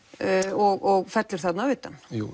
og fellur þarna utan jú